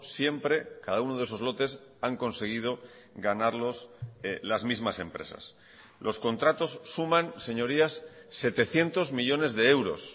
siempre cada uno de esos lotes han conseguido ganarlos las mismas empresas los contratos suman señorías setecientos millónes de euros